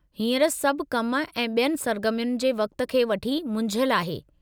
हींअर सभु कम ऐं ॿियनि सरगरमियुनि जे वक़्त खे वठी मुंझियलु आहे।